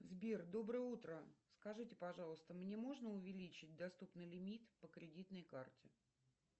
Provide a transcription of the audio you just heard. сбер доброе утро скажите пожалуйста мне можно увеличить доступный лимит по кредитной карте